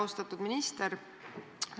Austatud minister!